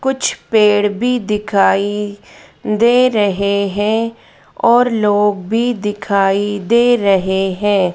कुछ पेड़ भी दिखाई दे रहे हैं और लोग भी दिखाई दे रहे हैं।